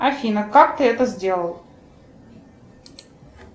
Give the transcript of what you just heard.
афина как ты это сделал